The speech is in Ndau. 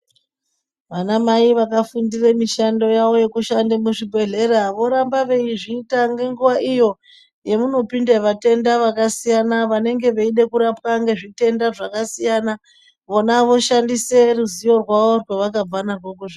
Vana mai vakafundira mushando wavo wekushanda muzvibhedhlera voramba veizviita ngenguwa iyo yavanopinda vatenda vakasiyana vanenge veida kurapa nezvitenda zvakasiyana. Vona voshandise ruzivo rwavo rwavakabva kuzvi.